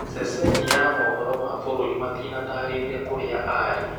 Ceceni ya mohoro ma bũrũri matinatarĩria kũrĩa arĩ.